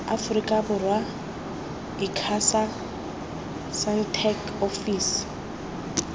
aforika borwa icasa sentech ofisi